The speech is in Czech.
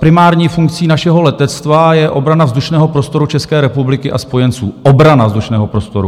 Primární funkcí našeho letectva je obrana vzdušného prostoru České republiky a spojenců, obrana vzdušného prostoru.